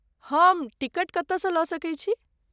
हम टिकट कतयसँ लऽ सकैत छी?